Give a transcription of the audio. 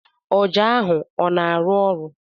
Ọjà ahụ ọ na-arụ ọrụ?